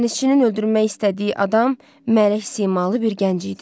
Dənizçinin öldürmək istədiyi adam mələk simalı bir gənc idi.